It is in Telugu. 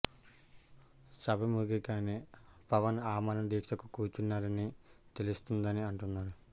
సభ ముగియగానే పవన్ ఆమరణ దీక్షకు కూర్చోనున్నారని తెలుస్తోందని అంటున్నారు